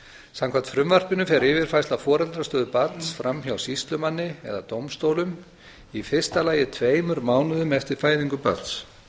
samkvæmt frumvarpinu fer yfirfærsla foreldrastöðu barns fram hjá sýslumanni eða dómstólum í fyrsta lagi tveimur mánuðum eftir fæðingu barns